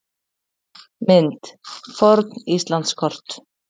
Mynd: Forn Íslandskort.